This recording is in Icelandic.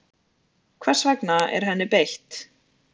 Hvers vegna er henni beitt?